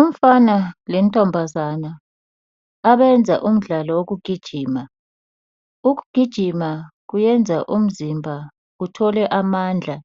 Umfana lentombazana abayenza umdlalo wokugijima. Ukugijima kuyenza umzimba uthole amandla